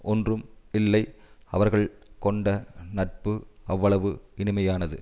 ஒன்றும் இல்லை அவர்கள் கொண்ட நட்பு அவ்வளவு இனிமையானது